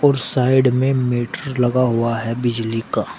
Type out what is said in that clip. और साइड में मीटर लगा हुआ है बिजली का --